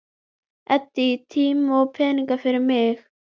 Eyddi tíma og peningum fyrir mig.